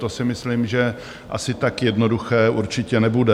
To si myslím, že asi tak jednoduché určitě nebude.